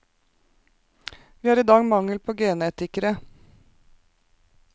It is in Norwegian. Vi har i dag mangel på genetikere.